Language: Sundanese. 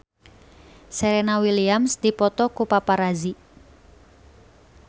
Serena Williams dipoto ku paparazi